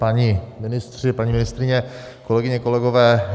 Páni ministři, paní ministryně, kolegyně, kolegové.